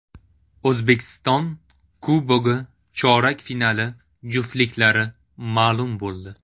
O‘zbekiston Kubogi chorak finali juftliklari ma’lum bo‘ldi.